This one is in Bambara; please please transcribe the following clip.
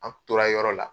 An tora yɔrɔ la